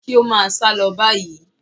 Kí ó máa sálọ báyìí.